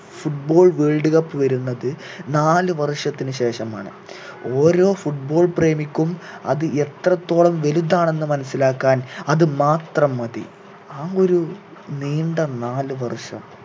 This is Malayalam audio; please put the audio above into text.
foot ball world cup വരുന്നത് നാല് വർഷത്തിനു ശേഷമാണ് ഓരോ foot ball പ്രേമിക്കും അത് എത്രത്തോളം വലുതാണെന്ന് മനസ്സിലാക്കാൻ അത് മാത്രം മതി ആ ഒരു നീണ്ട നാല് വർഷം